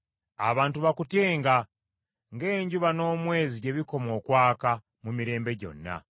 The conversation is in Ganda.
Abantu bakutyenga ng’enjuba n’omwezi gye bikoma okwaka mu mirembe gyonna.